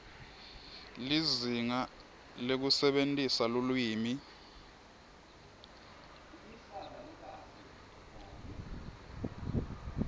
lizinga lekusebentisa lulwimi